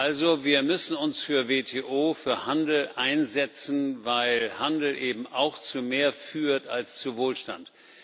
Also wir müssen uns für die WTO, für Handel einsetzen, weil Handel eben auch zu mehr führt als zu Wohlstand.